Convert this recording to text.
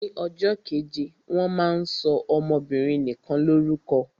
Ni ọjọ́ keje wọ́n máa ń sọ ọmọbinrin nikan lórúkọ.